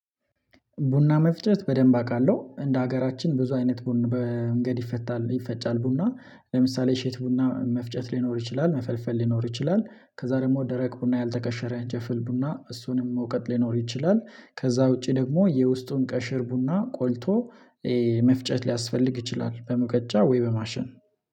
ቡና መፍጨት በደንብ አውቃለሁ እንደ ሀገራችን ብዙ አይነት ቡና በመንገድ ይፈጫል ይፈጫል ቡና። ለምሳሌ እሸት ቡና መፍጨት ሊኖር ይችላል መፈልፈል ሊኖር ይችላል። ከዛ ደግሞ ደረቅ ቡና ያልተከሸረ እንጨፍል ቡና እሱንም መውቀጥ ሊኖር ይችላል። ከዛ ውጪ ደግሞ የውስጡን ቀሽር ቡና ቆልቶ። መፍጨት ሊያስፈልግ ይችላል በሙቀጫ ወይ በማሽን